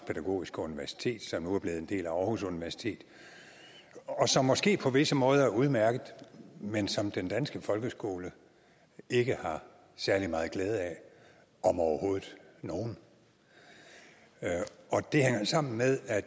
pædagogiske universitet som nu er blevet en del af aarhus universitet og som måske på visse måder er udmærket men som den danske folkeskole ikke har særlig meget glæde af om overhovedet nogen og det hænger jo sammen med at